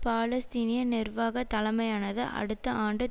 பாலஸ்தீனிய நிர்வாக தலைமையானது அடுத்த ஆண்டு